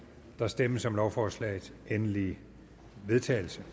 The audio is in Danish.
der stemmes om lovforslagets endelige vedtagelse